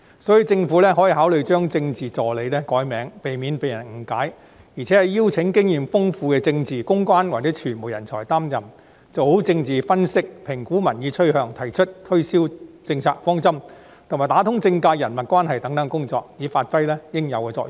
所以，政府可考慮把政治助理易名，避免誤解，並邀請經驗豐富的政治、公關或傳媒人才擔任，做好政治分析、評估民意趨向、提出推銷政策方針，以及打通政界人脈關係等工作，以發揮應有作用。